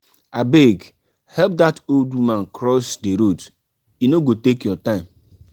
abeg help that old woman cross the road e no go take your time.